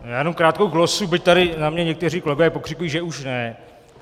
Já jenom krátkou glosu, byť tady na mě někteří kolegové pokřikují, že už ne.